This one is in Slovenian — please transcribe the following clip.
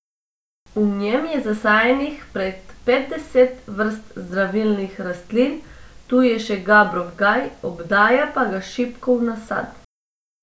V njem je zasajenih prek petdeset vrst zdravilnih rastlin, tu je še gabrov gaj, obdaja pa ga šipkov nasad.